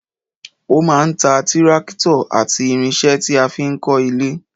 O máa ń ta tírákítọ̀ àti irinṣẹ́ tí a fi ń kọ́ ilé